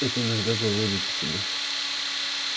это иногда выводит из себя